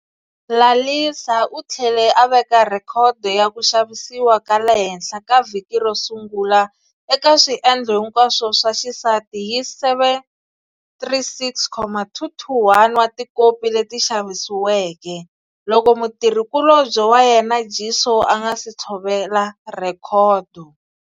Lalisa u tlhele a veka rhekhodo ya ku xavisiwa ka le henhla ka vhiki ro sungula eka swiendlo hinkwaswo swa xisati hi 736,221 wa tikopi leti xavisiweke, loko mutirhi kulobye wa yena Jisoo a nga si tshovela rhekhodo.